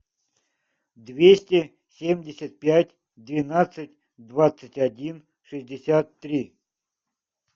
двести семьдесят пять двенадцать двадцать один шестьдесят три